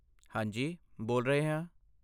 ਹਾਂਜੀ, ਬੋਲ ਰਹੇ ਹਾਂ।